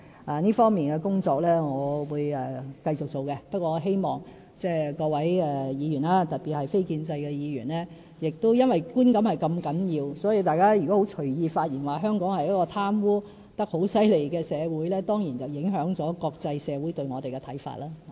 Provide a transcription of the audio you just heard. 我會繼續進行這方面的工作，但我希望各位議員，特別是非建制派議員，由於觀感如此重要，所以如果大家隨意發言，指香港是一個貪污問題嚴重的社會，當然會影響國際社會對我們的看法。